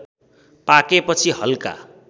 पाकेपछि हल्का